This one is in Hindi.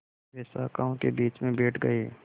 वे शाखाओं के बीच में बैठ गए